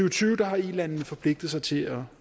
og tyve har ilandene forpligtet sig til at